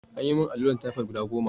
An yi min alluran typhoid guda goma.